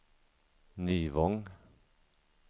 Nyvång